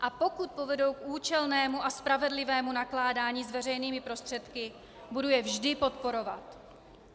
A pokud povedou k účelnému a spravedlivému nakládání s veřejnými prostředky, budu je vždy podporovat.